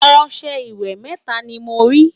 ọsẹ ìwé mẹta ní mọ rí